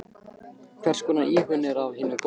Hvers konar íhugun er af hinu góða.